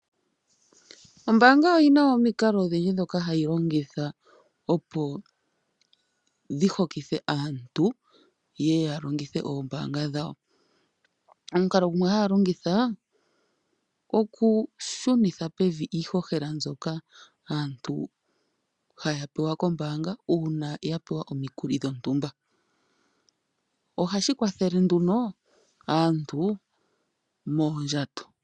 Ombaanga oyi na omikalo odhindji ndhoka hayi longitha opo dhi hokithe aantu ye ye ya longithe oombaanga dhawo. Omukalo gumwe haya longitha okushunitha pevi iihohela mbyoka aantu haya pewa kombaanga uuna ya pewa omikuli dhontumba. Ohashi kwathele nduno aantu moondjato.